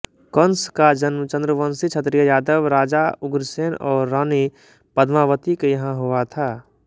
कंस का जन्म चंद्रवंशी क्षत्रिय यादव राजा उग्रसेन और रानी पद्मावती के यहाँ हुआ था